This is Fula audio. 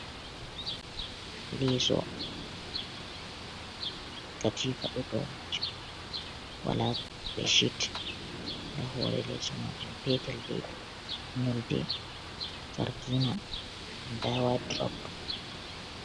Leeso katifa ɗo dou majum, wala be shit nda hore leeso majun petel daidei nyolde jargina, nda wadrob.